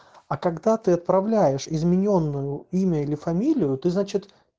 а когда ты отправляешь изменённую имя или фамилию ты значит